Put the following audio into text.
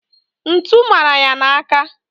ntu mara ya n'aka..